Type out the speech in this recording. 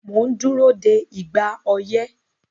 Mò ń dúró de "ìgbà oyẹ́"